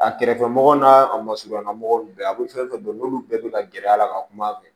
A kɛrɛfɛmɔgɔ n'a a ma surunya mɔgɔ ninnu bɛɛ a bɛ fɛn fɛn dɔn n'olu bɛɛ bɛ ka gɛrɛ a la ka kuma a fɛ